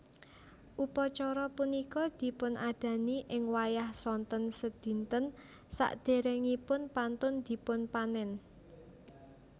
Upacara punika dipunadani ing wayah sonten sedinten saderengipun pantun dipunpanen